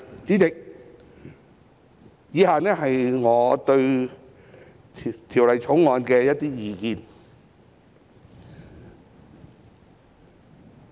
主席，以下是我對《條例草案》的一些意見。